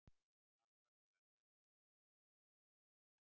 Alvarlega særðir eftir lestarslys